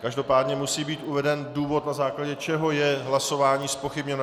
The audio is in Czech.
Každopádně musí být uveden důvod, na základě čeho je hlasování zpochybněno.